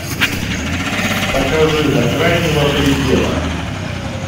покажи до крайнего предела